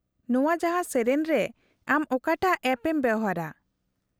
-ᱱᱚᱶᱟ ᱡᱟᱦᱟᱸ, ᱥᱮᱹᱨᱮᱹᱧ ᱨᱮ ᱟᱢ ᱚᱠᱟᱴᱟᱜ ᱮᱞᱷ ᱮᱢ ᱵᱮᱣᱦᱟᱨᱟ ?